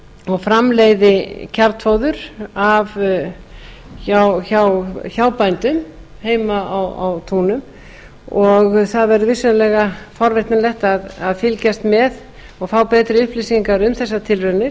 og framleiði kjarnfóður hjá bændum heima á túnum og það verður vissulega forvitnilegt að fylgjast með og fá betri upplýsingar um þessar tilraunir